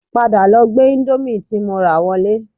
Padà lọ gbé indomie tí mo rà wọlé